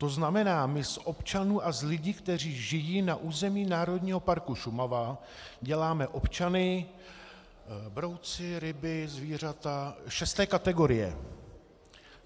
To znamená, my z občanů a z lidí, kteří žijí na území Národního parku Šumava děláme občany - brouci, ryby, zvířata - šesté kategorie.